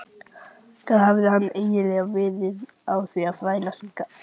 Hvað hafði hann eiginlega verið að þvælast hingað?